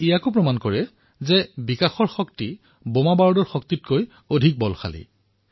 ইয়াৰ দ্বাৰা এয়াও প্ৰতিফলিত হয় যে বিকাশৰ শক্তি বোমাবন্দুকৰ শক্তিতকৈ সদায়েই ডাঙৰ